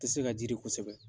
Ti se ka jiidi kosɛbɛ.